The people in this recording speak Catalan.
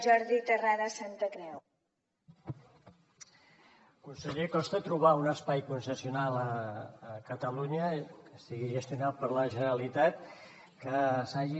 conseller costa trobar un espai concessional a catalunya que estigui gestionat per la generalitat que s’hagi